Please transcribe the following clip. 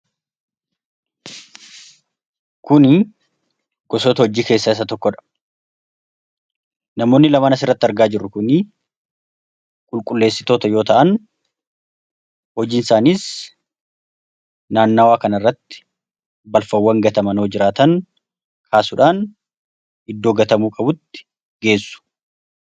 Kuni gosoota hojii keessaa isa tokkodha. Namoonni lamaan asirratti argaa jirru kuni qulqulleessitoota yoo ta'an, hojiin isaaniis naannawaa kanarratti balfawwan gataman yoo jiraatan kaasuudhaan iddoo gatamuu qabutti geessu.